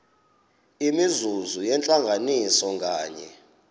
imizuzu yentlanganiso nganye